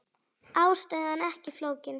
Ástæðan ekki flókin.